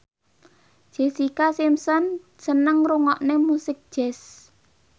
Jessica Simpson seneng ngrungokne musik jazz